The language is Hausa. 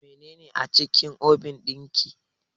Menene a cikin obin ɗin ki?